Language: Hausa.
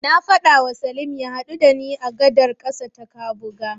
Na faɗawa Salim ya haɗu da ni a gadar ƙasa ta Kabuga.